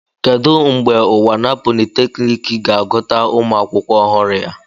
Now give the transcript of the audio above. Kedu mgbe unwana polytechnic ga-agụta ụmụ akwụkwọ ọhụrụ ya?